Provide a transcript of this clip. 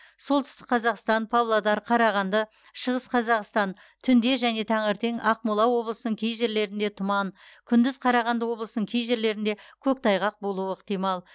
солтүстік қазақстан павлодар қарағанды шығыс қазақстан түнде және таңертең ақмола облысының кей жерлерінде тұман күндіз қарағанды облысының кей жерлерінде көктайғақ болуы ықтимал